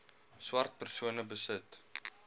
swart persone besit